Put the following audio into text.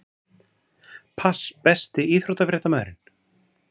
Pass Besti íþróttafréttamaðurinn?